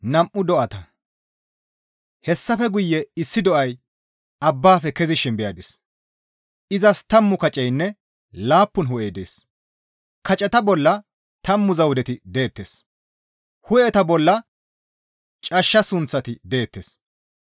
Hessafe guye issi do7ay abbafe kezishin beyadis; izas tammu kaceynne laappun hu7ey dees; kaceta bolla tammu zawudeti deettes; hu7eta bolla cashsha sunththati deettes.